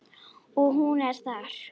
Og hún er þar.